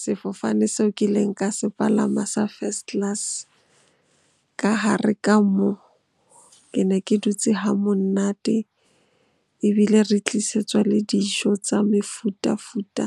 Sefofane seo kileng ka se palama sa first class ka hare ka moo. Ke ne ke dutse ha monate, ebile re tlisetswa le dijo tsa mefuta-futa